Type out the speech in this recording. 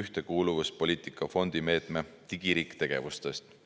ühtekuuluvuspoliitika fondi meetme "Digiriik" tegevustest.